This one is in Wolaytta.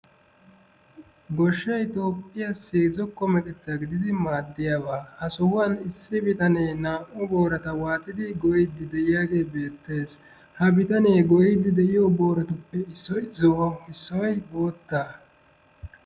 Goshshay toophiyaassi zokko meqqeta gididi maadiyaaba, Ha sohuwaan issi bitaane naa''u boorata waaxxidi goyiidi beettees. Ha bitaane goyyidi de'iyo booratuppe issoy zo'o issoy bootta.